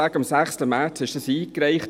Am 6. März wurde die Motion eingereicht.